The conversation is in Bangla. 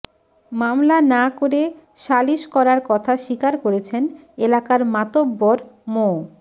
মামলা না করে শালিস করার কথা স্বীকার করেছেন এলাকার মাতব্বর মো